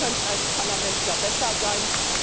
Wir könnten da als Parlament besser sein.